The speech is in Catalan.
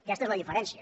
aquesta és la diferència